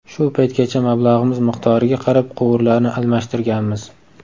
Shu paytgacha mablag‘imiz miqdoriga qarab quvurlarni almashtirganmiz.